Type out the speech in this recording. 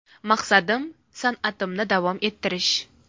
Maqsadim san’atimni davom ettirish.